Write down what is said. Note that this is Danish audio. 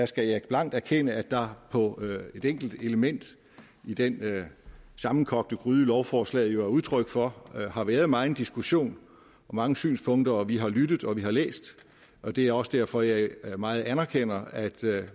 skal jeg blankt erkende at der på et enkelt element i denne sammenkogte gryde lovforslaget jo er udtryk for har været meget diskussion og mange synspunkter og vi har lyttet og vi har læst og det er også derfor at jeg meget anerkender at